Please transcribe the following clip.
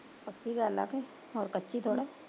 ਪੱਕੀ ਗੱਲ ਆ ਕਿ, ਹੋਰ ਕੱਚੀ ਥੋੜਾ